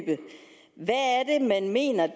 man mener